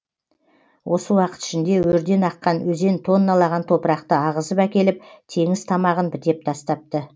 осы уақыт ішінде өрден аққан өзен тонналаған топырақты ағызып әкеліп теңіз тамағын бітеп тастапты